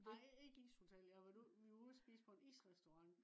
nej ikke ishotel. vi var ude og spise på en isrestaurant